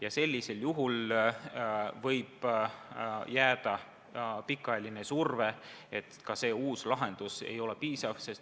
Ja sellisel juhul võib jääda pikaajaline surve, et ka see uus lahendus ei ole piisav.